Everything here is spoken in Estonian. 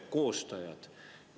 Mismoodi te tagate lapsele selle õiguse?